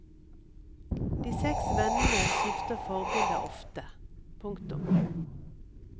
De seks vennene skifter forbilder ofte. punktum